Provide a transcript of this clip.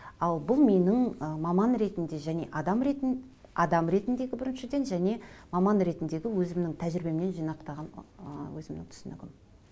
ал бұл менің ы маман ретінде және адам ретіндегі біріншіден және маман ретіндегі өзімнің тәжірибемнен жинақтаған ыыы өзімінің түсінігім